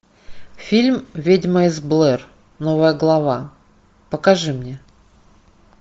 фильм ведьма из блэр новая глава покажи мне